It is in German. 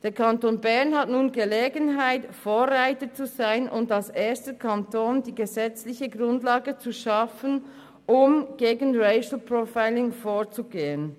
Der Kanton Bern hat nun Gelegenheit, Vorreiter zu sein und als erster Kanton die gesetzliche Grundlage zu schaffen, um gegen Racial Profiling vorzugehen.